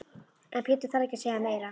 En Pétur þarf ekki að segja meira.